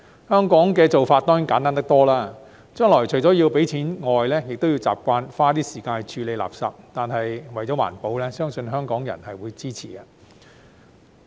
香港的做法當然簡單得多，將來除了要繳費外，亦要習慣花時間處理垃圾，但為了環保，相信香港人會支持。